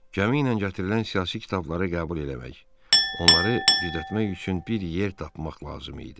Kəmi ilə gətirilən siyasi kitabları qəbul eləmək, onları gizlətmək üçün bir yer tapmaq lazım idi.